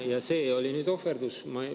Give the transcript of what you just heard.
Ja see oli nüüd ohverdus.